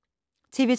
TV 2